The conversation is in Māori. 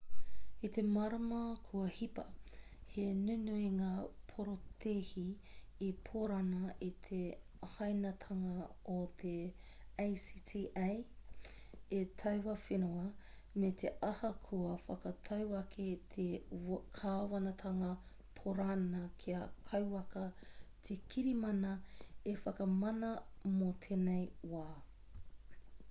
i te marama kua hipa he nunui ngā porotēhi i pōrana i te hāinatanga o te acta e taua whenua me te aha kua whakatau ake te kāwanatanga pōrana kia kauaka te kirimana e whakamana mō tēnei wā